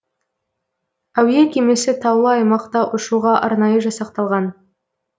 әуе кемесі таулы аймақта ұшуға арнайы жасақталған